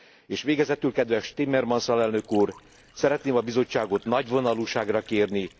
És végezetül kedves Timmermans alelnök úr, szeretném a Bizottságot nagyvonalúságra kérni.